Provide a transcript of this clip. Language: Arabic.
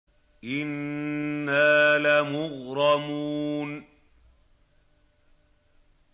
إِنَّا لَمُغْرَمُونَ